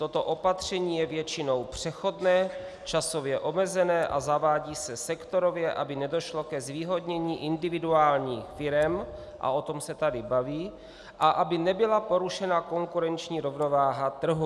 Toto opatření je většinou přechodné, časově omezené a zavádí se sektorově, aby nedošlo ke zvýhodnění individuálních firem - a o tom se tady bavíme - a aby nebyla porušena konkurenční rovnováha trhu.